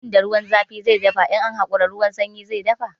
Abun da ruwan zafi ya dafa, in an hakura ruwan sanyi zai dafa.